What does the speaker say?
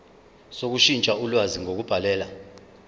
sokushintsha ulwazi ngokubhalela